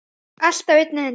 Allt á einni hendi.